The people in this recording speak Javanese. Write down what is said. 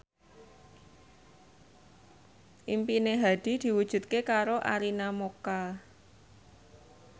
impine Hadi diwujudke karo Arina Mocca